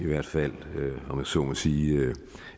hvert fald om jeg så må sige